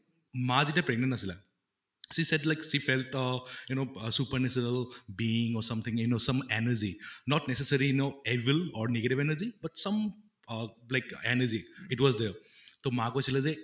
মা যেতিয়া pregnant আছিলে she said like she felt uh you know super natural being or something you know some energy not necessary you know evil or negative energy some uh like energy it was there তʼ মা কৈছিলে যে